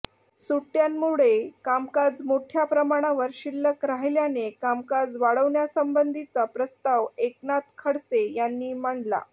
सुटयांमुळे कामकाज मोठया प्रमाणावर शिल्लक राहिल्याने कामकाज वाढवण्यासंबंधीचा प्रस्ताव एकनाथ खडसे यांनी मांडला